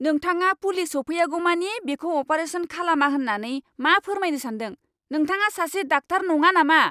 नोंथाङा पुलिस सौफैयागौमानि बिखौ अपारेसन खालामा होननानै मा फोरमायनो सान्दों? नोंथाङा सासे डाक्टार नङा नामा?